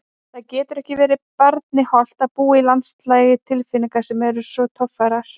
Það getur ekki verið barni hollt að búa í landslagi tilfinninga sem eru svo torfærar.